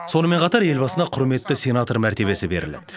сонымен қатар елбасына құрметті сенатор мәртебесі беріледі